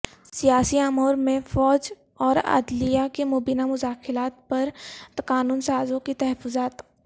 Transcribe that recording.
سیاسی امور میں فوج اور عدلیہ کی مبینہ مداخلت پر قانون سازوں کے تحفظات